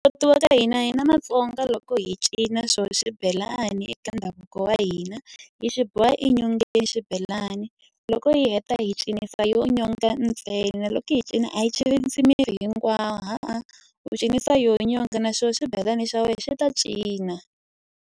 hina Matsonga loko hi cina xona swibelani eka ndhavuko wa hina, hi xi boha enyongeni xibelani loko hi heta hi cinisa yona nyonga ntsena. Loko hi cina a yi cinisi miri hinkwawo hawa, u cinisa yona nyonga na xona swibelani xa wena xi ta cina.